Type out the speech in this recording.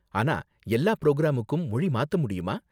ஆனா எல்லா பிரோக்ராமுக்கும் மொழி மாத்த முடியுமா?